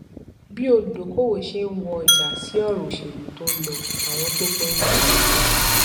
bí olùdókòówò ṣe ń wo ọjà sí ọrọ òṣèlú tó ń lọ àwọn tó gbọn gba ipò